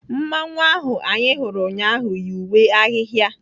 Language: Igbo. Mmanwụ ahu anyị hụrụ ụnyaahụ yi uwe ahịhịa.